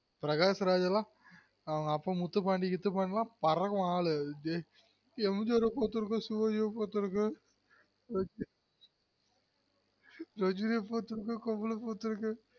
ப்ரக்காஷ்ராஜ் ளாம் அவன் அப்பா முத்துபண்டி கித்துபண்டிலாம் பறக்கும் ஆளு எம்ஜியார் பாத்துருக்கேன் சிவாஜிய பாத்துருகேன் ரஜ் ரஜினிய பாத்துருகேன் கமல பாத்துருகேன்